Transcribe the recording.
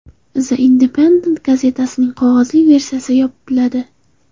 The Independent gazetasining qog‘ozli versiyasi yopiladi.